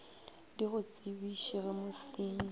di go tsebiše ge mosenyi